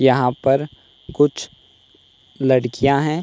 यहां पर कुछ लड़कियां हैं।